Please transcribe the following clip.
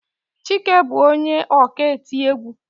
Chike bu onye ọka eti egwú.